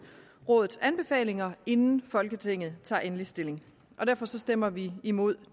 rådets anbefalinger inden folketinget tager endelig stilling derfor stemmer vi imod